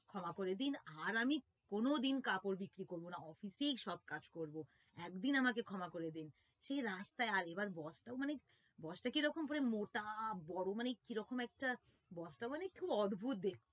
ক্ষমা করে দিন আর আমি কোনোদিন কাপড় বিক্রি করবোনা office এই সব কাজ করবো একদিন আমাকে ক্ষমা করে দিন সেই রাস্তায় boss টা কিরকম মানে মোটা বড় মানে কিরকম একটা boss টা মানে খুব অদ্ভুত দেখতে